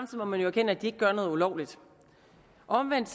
må man jo erkende at de ikke gør noget ulovligt omvendt